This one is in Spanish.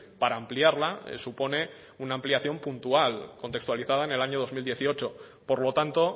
para ampliarla supone una ampliación puntual contextualizada en el año dos mil dieciocho por lo tanto